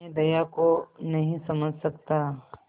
मैं दया को नहीं समझ सकता